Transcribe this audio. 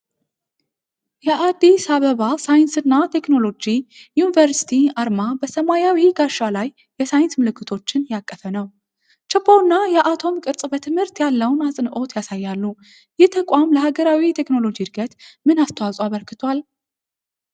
የአዲስ አበባ ሳይንስና ቴክኖሎጂ ዩኒቨርሲቲ አርማ በሰማያዊ ጋሻ ላይ የሳይንስ ምልክቶችን ያቀፈ ነው። ችቦውና የአቶም ቅርጽ በትምህርት ያለውን አጽንዖት ያሳያሉ። ይህ ተቋም ለሀገራዊ የቴክኖሎጂ ዕድገት ምን አስተዋፅዖ አበርክቷል?